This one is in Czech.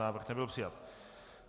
Návrh nebyl přijat.